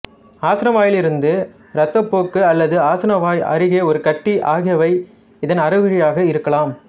ஆசனவாயிலிருந்து இரத்தப்போக்கு அல்லது ஆசனவாய் அருகே ஒரு கட்டி ஆகியவை இதன் அறிகுறியாக இருக்கலாம்